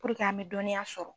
an bɛ dɔnniya sɔrɔ.